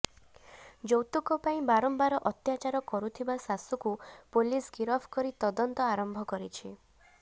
ଯୈାତୁକ ପାଇଁ ବାରମ୍ବାର ଅତ୍ୟାଚାର କରୁଥିବା ଶାଶୁକୁ ପୋଲିସ ଗିରଫ କରି ତଦନ୍ତ ଆରମ୍ଭ କରିଛି